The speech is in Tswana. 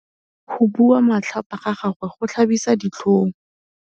Go bua matlhapa ga gagwe go tlhabisa ditlhong.